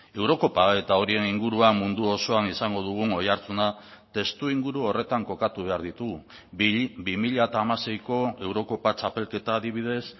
eurokopa eta horien inguruan mundu osoan izango dugun oihartzuna testuinguru horretan kokatu behar ditugu bi mila hamaseiko eurokopa txapelketa adibidez